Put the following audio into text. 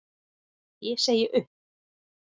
Ég segi upp!